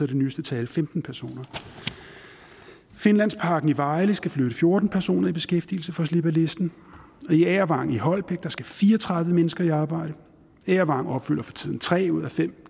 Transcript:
det nyeste tal femten personer finlandsparken i vejle skal flytte fjorten personer i beskæftigelse for at slippe af listen og i agervang i holbæk skal fire og tredive mennesker i arbejde agervang opfylder for tiden tre ud af fem